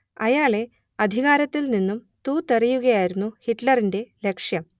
അയാളെ അധികാരത്തിൽ നിന്നും തൂത്തെറിയുകയായിരുന്നു ഹിറ്റ്‌ലറിന്റെ ലക്ഷ്യം